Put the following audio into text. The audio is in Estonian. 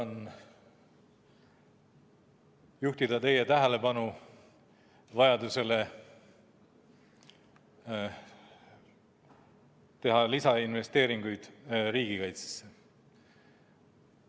Tahan juhtida teie tähelepanu vajadusele teha lisainvesteeringuid riigikaitsesse.